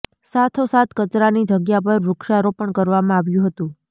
સાથો સાથ કચરાની જગ્યા પર વૃક્ષારોપણ કરવામાં આવ્યું હતું